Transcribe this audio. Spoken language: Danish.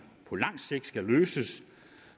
på langt sigt skal løses